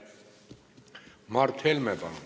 Mart Helme, palun!